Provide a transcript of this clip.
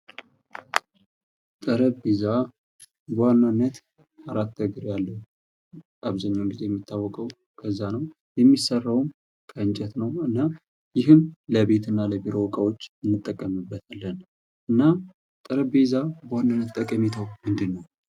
ጠረጴዛ በዋናነት አራት እግር ያለው አብዛኛው ጊዜ የሚታወቀው። የሚሰራውም ከእንጨት ነው። ይህም የቤት እና የቢሮ ዕቃዎች እንጠቀምበታለን። እና ጠረጴዛ በዋናነት ጠቀሜታው ምንድን ነው?